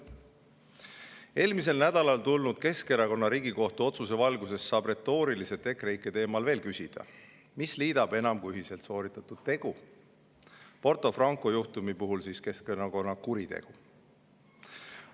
" Eelmisel nädalal tulnud Riigikohtu otsuse valguses Keskerakonna kohta saab EKREIKE teemal retooriliselt veel küsida, mis liidab enam kui ühiselt sooritatud tegu, Porto Franco juhtumi puhul siis Keskerakonna kuritegu.